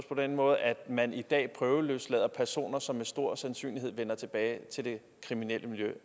på den måde at man i dag prøveløslader personer som med stor sandsynlighed vender tilbage til det kriminelle miljø